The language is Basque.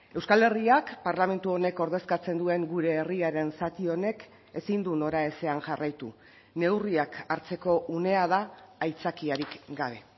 euskal herriak parlamentu honek ordezkatzen duen gure herriaren zati honek ezin du noraezean jarraitu neurriak hartzeko unea da aitzakiarik gabe